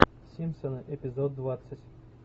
симпсоны эпизод двадцать